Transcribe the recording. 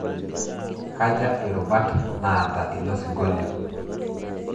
Kaja irubat naata ilo singolio?